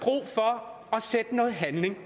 har sætte noget handling